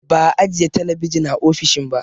Ba'a ajiye talabijin a ofishin ba